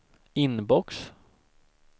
inbox